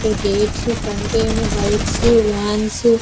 ఇక్కడ gates front ఏమో bikes vans --